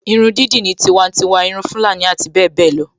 Irun dídì ní tiwantiwa, irun Fulani abbl